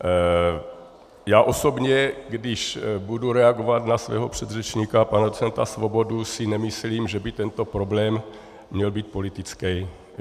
Já osobně, když budu reagovat na svého předřečníka pana docenta Svobodu, si nemyslím, že by tento problém měl být politický.